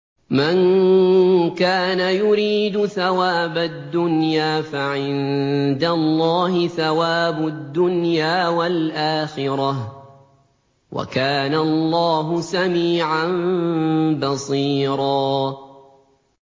مَّن كَانَ يُرِيدُ ثَوَابَ الدُّنْيَا فَعِندَ اللَّهِ ثَوَابُ الدُّنْيَا وَالْآخِرَةِ ۚ وَكَانَ اللَّهُ سَمِيعًا بَصِيرًا